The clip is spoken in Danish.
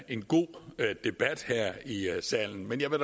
en god debat her i salen men jeg vil